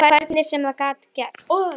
Hvernig sem það gat gerst.